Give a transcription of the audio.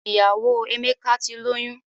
Ìyàwó Emeka ti lóyún.